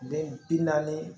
Den bi naani